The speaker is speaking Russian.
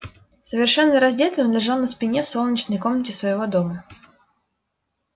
совершенно раздетый он лежал на спине в солнечной комнате своего дома